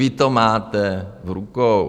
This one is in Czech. Vy to máte v rukou.